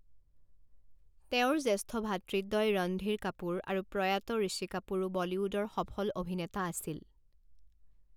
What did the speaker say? তেওঁৰ জ্যেষ্ঠ ভাতৃদ্বয় ৰণধীৰ কাপুৰ আৰু প্ৰয়াত ঋষি কাপুৰো বলীউডৰ সফল অভিনেতা আছিল।